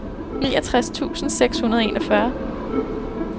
niogtres tusind seks hundrede og enogfyrre